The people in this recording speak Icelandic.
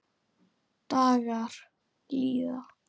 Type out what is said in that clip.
Dagar líða.